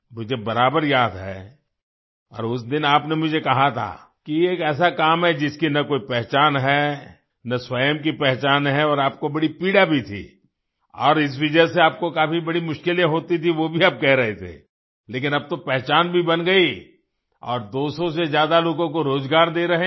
मुझे बराबर याद है और उस दिन आपने मुझे कहा था कि ये एक ऐसा काम है जिसकी न कोई पहचान है न स्वयं की पहचान है और आपको बड़ी पीड़ा भी थी और इस वजह से आपको बड़ी मुश्किलें होती थी वो भी आप कह रहे थे लेकिन अब तो पहचान भी बन गई और 200 से ज़्यादा लोगों को रोज़गार दे रहे हैं